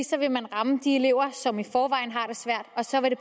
så vil man ramme de elever som i forvejen har det svært og så vil